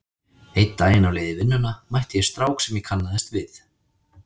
Einn daginn á leið í vinnuna mætti ég strák sem ég kannaðist við.